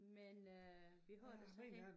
Men øh vi har så hende